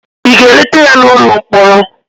ị ga-eleta ya n'ụlọ mkpọrọ?